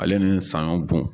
Ale ni sanɲɔn bu